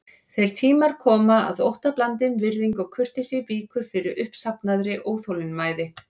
Þeir tímar koma að óttablandin virðing og kurteisi víkur fyrir uppsafnaðri óþolinmæði.